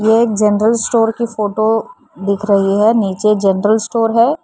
ये एक general store की फोटो दिख रही है नीचे जनरल स्टोर है।